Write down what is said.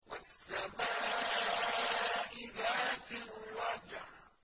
وَالسَّمَاءِ ذَاتِ الرَّجْعِ